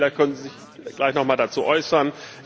Vielleicht können Sie sich gleich noch einmal dazu äußern.